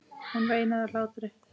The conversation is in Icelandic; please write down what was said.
Hún veinaði af hlátri.